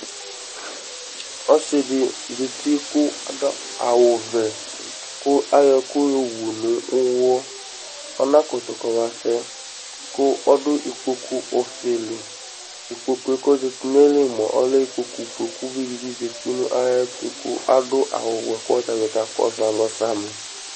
Ɔsɩɖɩ zati ku aɖu awu vɛ ku ayɔ ɛku yo wu nu uwɔ Ana kutu kɔma sɛ ku ɔɖu ɩkpoku ofelɩ Ɩkpokue ko zatɩ nayɩli mua ɔlɛ ɩkpoku foe ku uvɩɖɩ bɩ zatɩ nayɛtu ku aɖu awu wɛ katanɩ kakɔsu alɔ sami